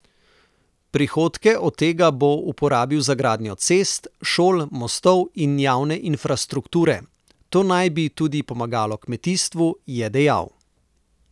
Prihodke od tega bo uporabil za gradnjo cest, šol, mostov in javne infrastrukture, to naj bi tudi pomagalo kmetijstvu, je dejal.